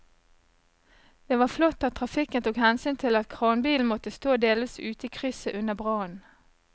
Det var flott at trafikken tok hensyn til at kranbilen måtte stå delvis ute i krysset under brannen.